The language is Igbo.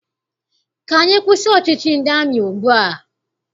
Ka anyị kwụsị ọchịchị ndị amị ugbua!